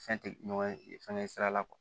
Fɛn tɛ ɲɔgɔn ye fɛnkɛ sira la